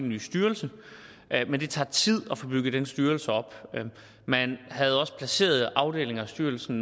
ny styrelse men det tager tid at få bygget den styrelse op man havde også placeret afdelinger af styrelsen